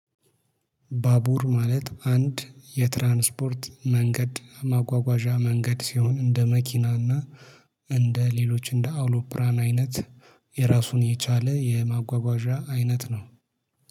ባቡር ማለት አንድ የትራንስፖርት መንገድ ማጓጓዣ መንገድ ሲሆን እንደ መኪና እና እንደ ሌሎች እንደ አውሮፕራን አይነት የራሱን የቻለ የማጓጓዣ አይነት ነው